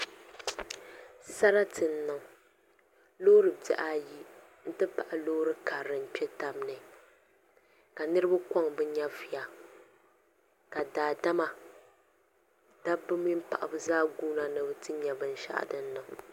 Sarati n niŋ loori bihi ayi n ti pahi loori karili n kpɛ tabi ni ka niraba koŋ bi nyɛvuya ka daadama dabba mini paɣaba zaa guuna ni bi ti nyɛ binshaɣu din niŋ